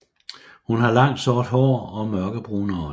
Hun har langt sort hår og mørke brune øjne